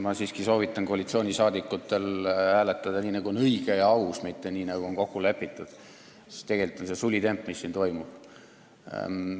Ma siiski soovitan koalitsioonisaadikutel hääletada nii, nagu on õige ja aus, mitte nii, nagu on kokku lepitud, sest tegelikult on see sulitemp, mis siin toimub.